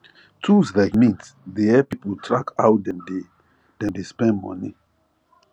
tools like mint dey help people track how dem dey dem dey spend money